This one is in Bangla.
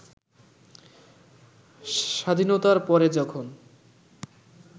স্বাধীনতার পরে যখন